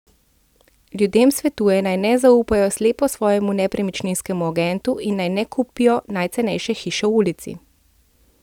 Ljudem svetuje naj ne zaupajo slepo svojemu nepremičninskemu agentu in naj ne kupijo najcenejše hiše v ulici.